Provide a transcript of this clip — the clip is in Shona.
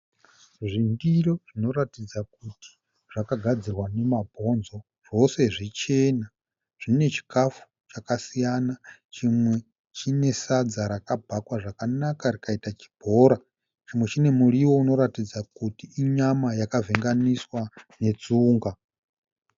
Zvindiro zvinoratidza kuti zvakagadzirwa nemabonzo. Zvose zvichena. Zvine chikafu chakasiya . Chine chinesadza rakabhakwa zvakanaka rikaita chibhora. Chimwe chine muriwo unoratidza kuti inyama yakavhenganiswa netsunga.